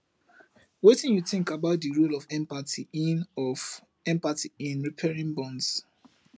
wetin you think about di role of empathy in of empathy in repairing bonds